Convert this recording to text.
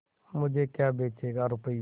मुझे क्या बेचेगा रुपय्या